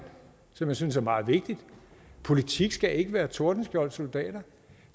som jeg synes er meget vigtigt politik skal ikke være tordenskjolds soldater